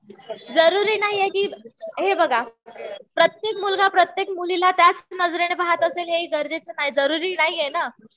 जरुरी नाहीये कि, हे बघा प्रत्येक मुलगा प्रत्येक मुलीला त्याच नजरेने पाहत असेल हे हि गरजेचं नाही. जरुरी नाहीये ना.